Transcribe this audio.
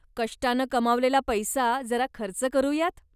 कष्टानं कमावलेला पैसा जरा खर्च करूयात.